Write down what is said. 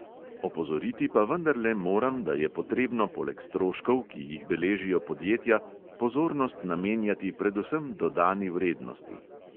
Opozoriti pa vendarle moram, da je potrebno poleg stroškov, ki jih beležijo podjetja, pozornost namenjati predvsem dodani vrednosti.